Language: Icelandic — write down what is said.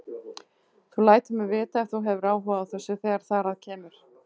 Þú lætur mig vita, ef þú hefur áhuga á þessu, þegar þar að kemur